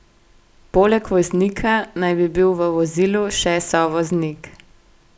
Poleg voznika naj bi bil v vozilu še sovoznik.